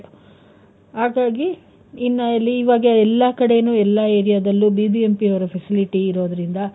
ಹಾಗಾಗಿ, ಇನ್ನ್ ಈವಾಗ ಎಲ್ಲಾ ಕಡೆನೂ ಎಲ್ಲಾ area ದಲ್ಲೂ BBMP ಯವ್ರ facility ಇರೋದ್ರಿಂದ,